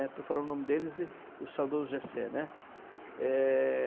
Estou falando o nome deles e o saudoso Gessé, né. É...